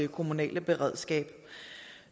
kommunale beredskab